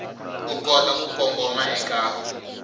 u kota ku kongoma eka